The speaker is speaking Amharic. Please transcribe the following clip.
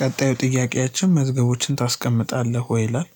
ቀጣዩ ጥያቄያችን "መዝገቦችን ታስቀምጣለህ ወይ?" ይላል።